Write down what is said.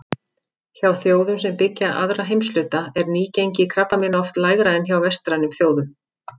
Hjá þjóðum sem byggja aðra heimshluta er nýgengi krabbameina oft lægra en hjá vestrænum þjóðum.